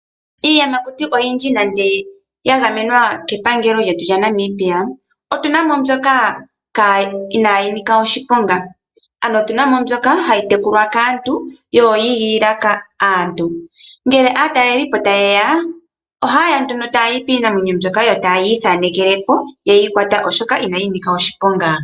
Iiyamakuti oyindji nande ya gamwena kepangelo lyetu lyaNamibia, otuna mo mbyoka inaayi nika oshiponga. Ano otuna mo mbyoka hayi tekulwa kaantu yo oyiigilila aantu. Ngele aatalelipo tayeya, ohayeya nduno taya yi piinamwenyo mbyoka yo tayi ithanekele po yeyi kwata oshoka inayi nika oshiponga.